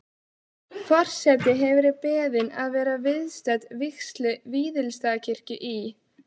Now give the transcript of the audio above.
Forseti hefur verið beðin að vera viðstödd vígslu Víðistaðakirkju í